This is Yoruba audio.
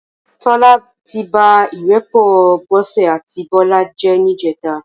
Tola ti bá irèpò Bose áti Bola jè nijètá